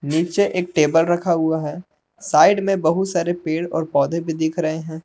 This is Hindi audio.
नीचे एक टेबल रखा हुआ है साइड में बहुत सारे पेड़ और पौधे भी दिख रहे हैं।